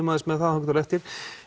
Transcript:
aðeins með það þangað til á eftir